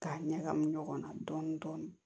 K'a ɲagami ɲɔgɔn na dɔɔnin dɔɔnin